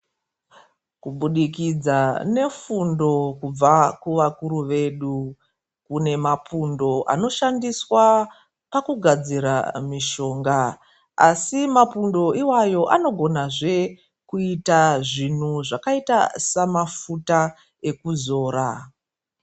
Kubudikidza nefundo kubva kuvakuru vedu ,kune mapundo anoshandiswa pakugadzira mishonga, asi mapundo iwayo anogonazve kuita zvinhu zvakaita samafuta ekuzora.